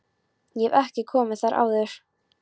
Ég hef ekki komið þar áður.